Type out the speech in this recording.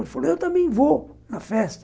Ele falou, eu também vou na festa.